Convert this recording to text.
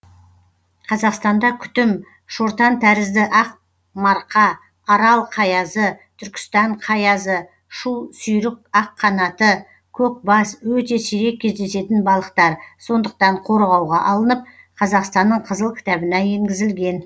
қазақстанда күтім шортантәрізді ақ марқа арал қаязы түркістан қаязы шу сүйрік аққанаты көкбас өте сирек кездесетін балықтар сондықтан қорғауға алынып қазақстанның қызыл кітабына енгізілген